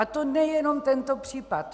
A to nejenom tento případ.